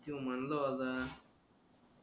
त्यो म्हणलं होता